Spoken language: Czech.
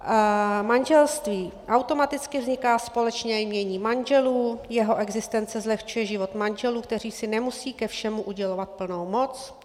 Manželství - automaticky vzniká společné jmění manželů, jeho existence zlehčuje život manželů, kteří si nemusí ke všemu udělovat plnou moc.